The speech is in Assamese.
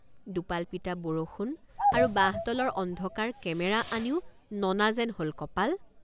দোপালপিটা বৰষুণ আৰু বাঁহতলৰ অন্ধকাৰ কেমেৰা আনিও ননা যেন হল কপাল!